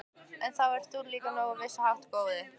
En það ert þú nú líka á vissan hátt, góði